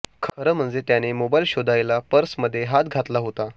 खरं म्हणजे त्याने मोबाईल शोधायला पर्समध्ये हात घातला होता